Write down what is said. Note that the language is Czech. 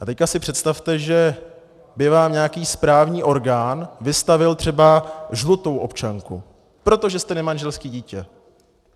A teď si představte, že by vám nějaký správní orgán vystavil třeba žlutou občanku, protože jste nemanželské dítě.